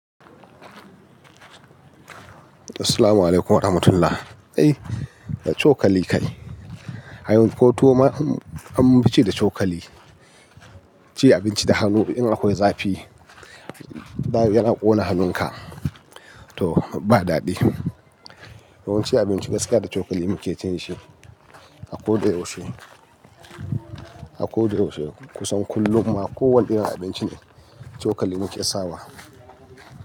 Assalamualaikum warahmatullahi. Ai da cokali kai. Ai ko tuwo ma ai munfici da cokali. Ci abinci da hannu in akwai zafi, da ya ƙona hannunka, to ba daɗi. Yawan ci abinci gaskiya da cokali muke cewa shi a ko da yaushe, a ko da yaushe. Kusan kullum ma ko wane irin abinci ne, cokali muke sawa.